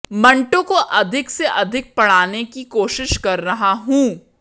मंटो को अधिक से अधिक पढ़ने की कोशिश कर रहा हूं